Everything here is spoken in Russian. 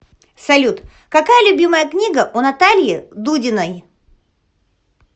салют какая любимая книга у натальи дудиной